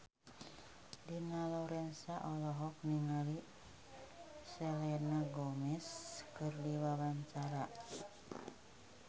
Dina Lorenza olohok ningali Selena Gomez keur diwawancara